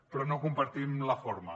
però no en compartim la forma